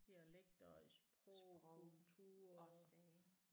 Dialekter og i sprog og kultur